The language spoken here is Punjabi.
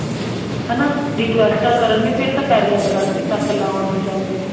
ਹਨਾ ਰਿਕ਼ੁਏਸਟਾ ਕਰਨਗੇ ਫ਼ੇਰ ਤਾਂ ਪੇਰੀ ਹੱਥ ਤੱਕ ਲਾਉਣ ਨੂੰ ਜਾਂਦੇ ਨੇ